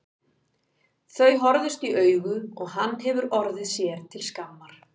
Þau horfðust í augu og hann hefur orðið sér til skammar.